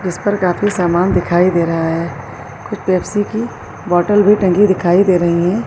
اس پر کافی سامان دکھائی دے رہا ہے۔ کچھ پیپسی کی باٹل بھی ٹنگی دکھائی دے رہی ہیں۔